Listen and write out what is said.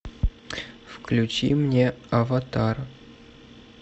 включи мне аватар